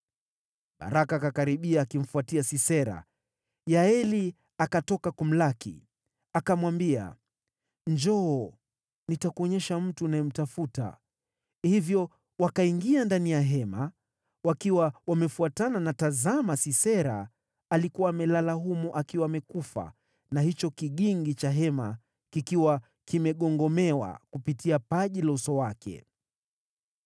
Baraka akakaribia akimfuatia Sisera, Yaeli akatoka kumlaki. Akamwambia, “Njoo, nitakuonyesha mtu unayemtafuta.” Hivyo wakaingia ndani ya hema wakiwa wamefuatana na tazama Sisera alikuwa amelala humo, akiwa amekufa, na hicho kigingi cha hema kikiwa kimegongomewa kupitia paji la uso wake.